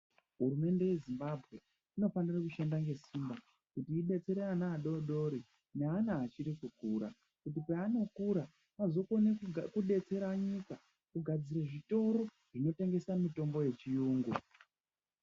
Hurumende yeZimbabwe inofanira kushanda ngesimba kuti idetsere ana adodori neana achirikukura kuti panokura azokonedetsera nyika kugadzire zvitoro zvinotengesa mitombo yechirungu.